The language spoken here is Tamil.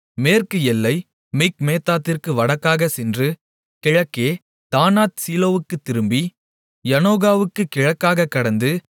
மேற்கு எல்லை மிக்மேத்தாத்திற்கு வடக்காகச் சென்று கிழக்கே தானாத்சீலோவுக்குத் திரும்பி அதை யநோகாவுக்குக் கிழக்காகக் கடந்து